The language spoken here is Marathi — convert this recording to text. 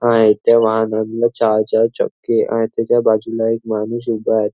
आहे इथे वाहनांना चार चार चक्के आहेत त्याच्या बाजूला एक माणूस उभा आहे.